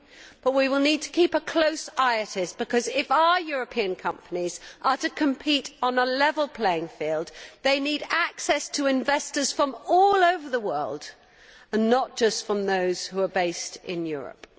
But we will need to keep a close eye on it because, if our European companies are to compete on a level playing field, they need access to investors from all over the world and not just to those who are based in Europe.